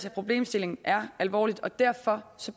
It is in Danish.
at problemstillingen er alvor og derfor